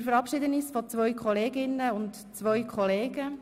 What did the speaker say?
Wir verabschieden uns von zwei Kolleginnen und zwei Kollegen.